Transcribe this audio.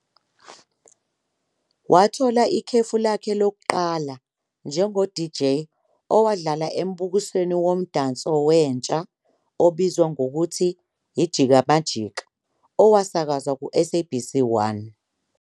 Wathola ikhefu lakhe lokuqala njengo-DJ ohlala embukisweni womdanso wentsha obizwa ngokuthi "I-Jika Majika" owasakazwa ku-I-SABC 1.